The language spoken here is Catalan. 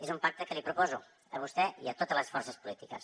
és un pacte que li proposo a vostè i a totes les forces polítiques